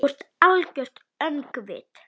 Þú ert algert öngvit!